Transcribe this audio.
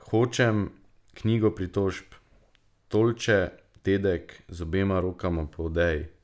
Hočem knjigo pritožb, tolče dedek z obema rokama po odeji.